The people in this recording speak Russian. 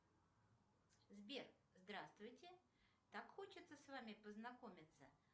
сбер здравствуйте так хочется с вами познакомиться